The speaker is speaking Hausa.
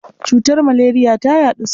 Cutar maleriya ta yaɗu sosai.